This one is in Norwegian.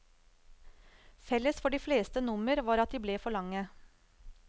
Felles for de fleste nummer var at de ble for lange.